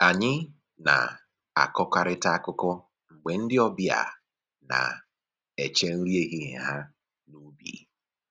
Anyị na-akọkarịta akụkọ mgbe ndị ọbịa na-eche nri ehihie ha n'ubi